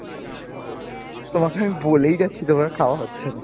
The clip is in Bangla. তোমাকে আমি বলেই যাচ্ছি তোমার খাওয়া হচ্ছেনা।